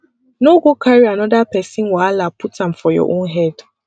no go carry anoda pesin wahala put am for your own head